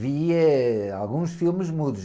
Vi, eh, alguns filmes mudos.